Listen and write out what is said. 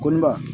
Ko ne ba